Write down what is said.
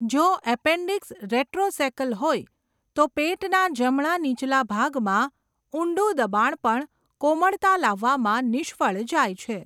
જો appendix retrocaecal હોય તો પેટના જમણા નીચલા ભાગમાં ઊંડું દબાણ પણ કોમળતા લાવવામાં નિષ્ફળ જાય છે.